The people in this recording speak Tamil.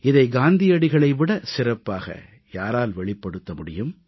இதை காந்தியடிகளை விடச் சிறப்பாக யாரால் வெளிப்படுத்த முடியும்